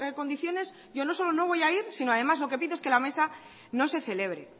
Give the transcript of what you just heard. condiciones yo no solo no voy a ir sino además lo que pido es que la mesa no se celebre